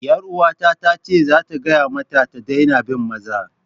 'Yaruwarta ta ce za ta gaya mata ta daina bin maza.